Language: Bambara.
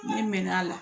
Ne mɛn'a la